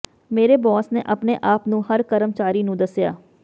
ਮੇਰੇ ਬੌਸ ਨੇ ਆਪਣੇ ਆਪ ਨੂੰ ਹਰ ਕਰਮਚਾਰੀ ਨੂੰ ਦੱਸਿਆ